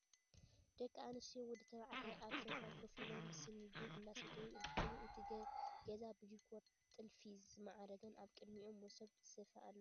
ደቂ ኣንስትዮን ወዲ ተባዕታይን ኣብ ሶፋ ኮፍ ኢሎም ብሲኒ ቡን እንዳሰተዩ እንትኮኑ፣ እቲ ገዛ ብዲኮር ጥልፊ ዝማዕረገን ኣብ ቅድሚኦም መሶብ ስፈ ኣሎ።